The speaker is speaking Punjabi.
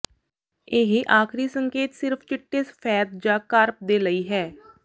ਇਹ ਆਖਰੀ ਸੰਕੇਤ ਸਿਰਫ ਚਿੱਟੇ ਸਫੈਦ ਜਾਂ ਕਾਰਪ ਦੇ ਲਈ ਹੈ